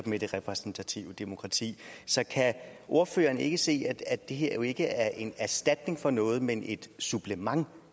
med det repræsentative demokrati så kan ordføreren ikke se at at det her jo ikke er en erstatning for noget men et supplement